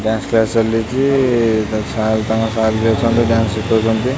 Dance class ଚାଲିଚି। ତାଙ୍କ sir ତାଙ୍କ ସାର୍ ବି ଅଛନ୍ତି ଡ୍ୟାନ୍ସ ଶିଖୋଉଛନ୍ତି।